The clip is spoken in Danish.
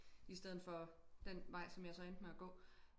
I stedet for den vej som jeg så endte med at gå